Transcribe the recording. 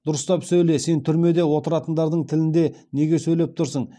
дұрыстап сөйле сен түрмеде отыратындардың тілінде неге сөйлеп тұрсың